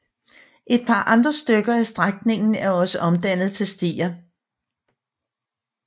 Et par andre stykker af strækningen er også omdannet til stier